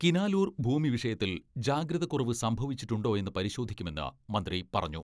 കിനാലൂർ ഭൂമി വിഷയത്തിൽ ജാഗ്രത കുറവ് സംഭവിച്ചിട്ടുണ്ടോയെന്ന് പരി ശോധിക്കുമെന്ന് മന്ത്രി പറഞ്ഞു.